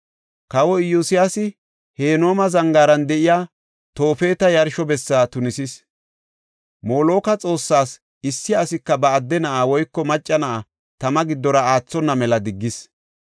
Kawoy Iyosyaasi Henooma zangaaran de7iya Toofeta yarsho bessa tunisis. Moloka xoossas issi asika ba adde na7aa woyka macca na7a tama giddora aathona mela diggis.